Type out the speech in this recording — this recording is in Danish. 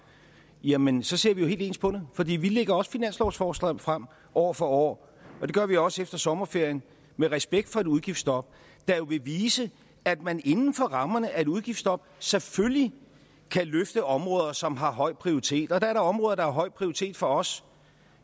jamen så ser vi jo helt ens på det fordi vi lægger også finanslovsforslag frem år for år og det gør vi også efter sommerferien med respekt for et udgiftsstop der jo vil vise at man inden for rammerne af et udgiftsstop selvfølgelig kan løfte områder som har høj prioritet og der er da områder der har høj prioritet for os